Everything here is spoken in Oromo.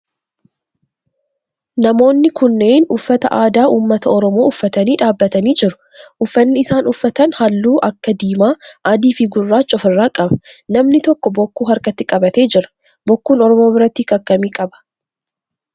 Namoonni kunneen uffata aadaa ummata oromoo uffatanii dhaabbatanii jiru. Uffanni isaan uffatan halluu akka diimaa, adii fi guraacha of irraa qaba. Namni tokko bokkuu harkatti qabatee jira. Bokkuun oromoo biratti hiika akkamii qaba?